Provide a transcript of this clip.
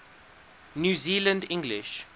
new zealand english